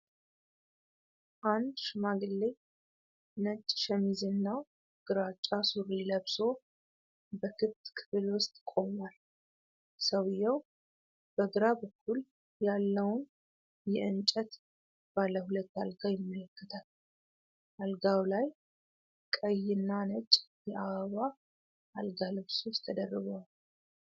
አንድ ሽማግሌ ነጭ ሸሚዝና ግራጫ ሱሪ ለብሶ በክፍት ክፍል ውስጥ ቆሟል። ሰውየው በግራ በኩል ያለውን የእንጨት ባለ ሁለት አልጋ ይመለከታል። አልጋው ላይ ቀይና ነጭ የአበባ አልጋ ልብሶች ተደርበዋል።